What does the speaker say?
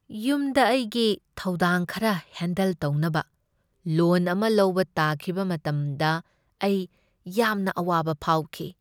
ꯌꯨꯝꯗ ꯑꯩꯒꯤ ꯊꯧꯗꯥꯡ ꯈꯔ ꯍꯦꯟꯗꯜ ꯇꯧꯅꯕ ꯂꯣꯟ ꯑꯃ ꯂꯧꯕ ꯇꯥꯈꯤꯕ ꯃꯇꯝꯗ ꯑꯩ ꯌꯥꯝꯅ ꯑꯋꯥꯕ ꯐꯥꯎꯈꯤ꯫